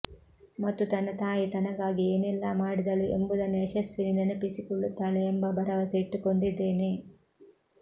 ಮತ್ತು ತನ್ನ ತಾಯಿ ತನಗಾಗಿ ಏನೆಲ್ಲಾ ಮಾಡಿದಳು ಎಂಬುದನ್ನು ಯಶಸ್ವಿನಿ ನೆನಪಿಸಿಕೊಳ್ಳುತ್ತಾಳೆ ಎಂಬ ಭರವಸೆ ಇಟ್ಟುಕೊಂಡಿದ್ದೇನೆ